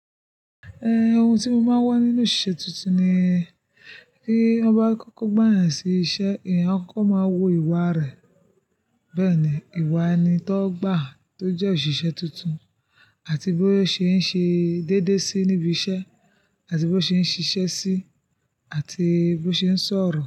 Eh ohun tí mo máa ń wá nínú isé tuntun ni kí wọ́n ba kọ́kọ́ gbà yàn sí isẹ́, ìyẹn ọkọ máa wo ìwà rẹ̀. Bẹ́ẹ̀ ni, ìwà ẹni tó gbà tó jẹ́ òṣìṣẹ́ tuntun àti bó ṣe ń ṣe dédé sí níbi isẹ́ àti bó ṣe ń ṣiṣẹ́ sí àti bó ṣe ń sọ̀rọ̀